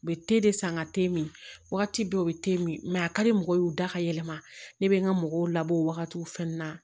U bɛ san ka te min wagati bɛɛ u bɛ min a ka di mɔgɔw ye u da ka yɛlɛma ne bɛ n ka mɔgɔw labɔ o wagatiw fɛn na